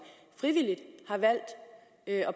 frivilligt har valgt at